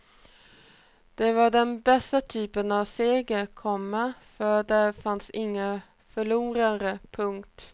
Det var den bästa typen av seger, komma för där fanns inga förlorare. punkt